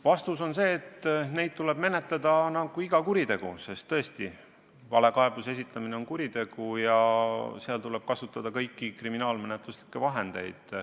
Vastus on see, et neid tuleb menetleda nagu iga kuritegu, sest tõesti, valekaebuse esitamine on kuritegu ja selle vastu tuleb kasutada kõiki kriminaalmenetluslikke vahendeid.